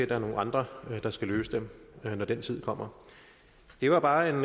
der er nogle andre der skal løse dem når den tid kommer det var bare en